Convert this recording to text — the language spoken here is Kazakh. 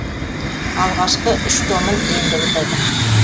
алғашқы үш томын енді бітірдім